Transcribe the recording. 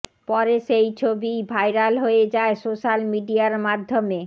পরে সেই ছবিই ভাইরাল হয়ে যায় সোশ্যাল মিডিয়ার মাধ্যমে